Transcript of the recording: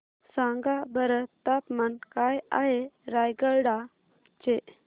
सांगा बरं तापमान काय आहे रायगडा चे